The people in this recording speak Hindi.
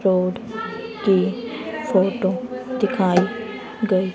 रोड की फोटो दिखाई गई--